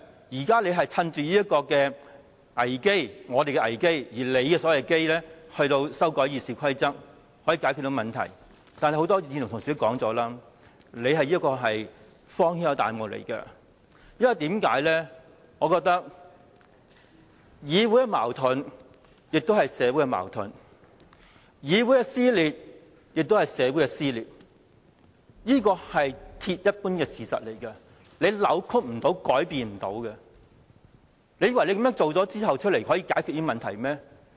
現在他們趁着我們的"危"——即他們的所謂"機"——修改《議事規則》來解決問題，但正如很多議員說，這是荒天下之大謬，因為議會的矛盾亦是社會的矛盾，議會撕裂亦是社會撕裂，這是鐵一般的事實，是無法扭曲改變的事實，難道他們以為這樣做可以解決問題嗎？